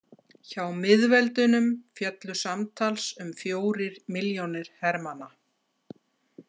Hjá miðveldunum féllu samtals um fjórir milljónir hermanna.